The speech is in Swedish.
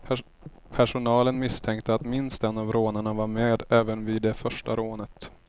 Personalen misstänkte att minst en av rånarna var med även vid det första rånet.